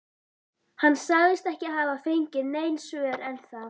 Hann sagðist ekki hafa fengið nein svör ennþá.